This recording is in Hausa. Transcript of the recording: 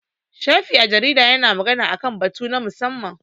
Shafi a jarida ya na magana a kan batu na musamman